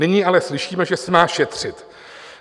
Nyní ale slyšíme, že se má šetřit.